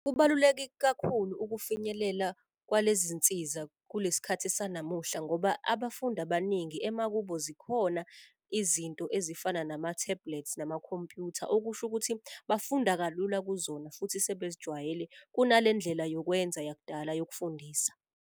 Kubaluleke kakhulu ukufinyelela kwalezi nsiza kulesi sikhathi sanamuhla ngoba abafundi abaningi emakubo zikhona izinto ezifana nama-tablet, namakhompyutha. Okusho ukuthi bafunda kalula kuzona futhi sebezijwayele kunalendlela yokwenza yakudala yokufundisa.